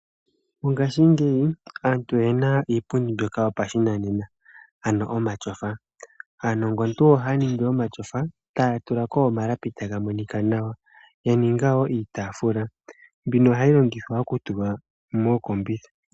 Mongashingeyi aantu oye na iipundi mbyono yopashinanena, ano omatyofa. Aanongontu ohaya ningi omatyofa, taya tula ko omalapi taga monika nawa ya ninga iitaafula mbyono hayi longithwa okutulwa mookombitha.